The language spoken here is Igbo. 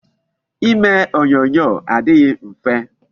Ime onyonyo adịghị mfe.